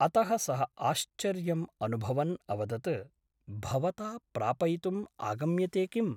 अतः सः आश्चर्यम् अनुभवन् अवदत् भवता प्रापयितुम् आगम्यते किम् ?